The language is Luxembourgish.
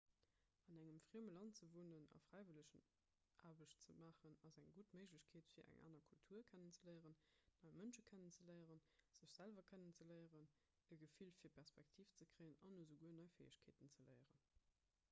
an engem frieme land ze wunnen a fräiwëllegenaarbecht ze maachen ass eng gutt méiglechkeet fir eng aner kultur kennenzeléieren nei mënsche kennenzeléieren sech selwer kennenzeléieren e gefill fir perspektiv ze kréien an esouguer nei fäegkeeten ze léieren